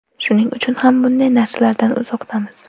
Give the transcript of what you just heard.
Shuning uchun ham bunday narsalardan uzoqdamiz.